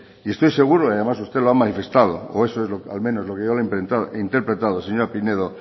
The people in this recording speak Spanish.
y estoy seguro y además usted lo ha manifestado o eso es lo que al menos lo que yo le he interpretado señora pinedo